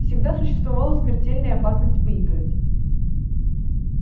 всегда существовала смертельная опасность выиграть